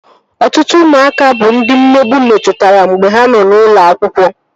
Ọtụtụ ụmụaka bụ ndị mmegbu metụtara mgbe ha nọ n'ụlọ akwụkwọ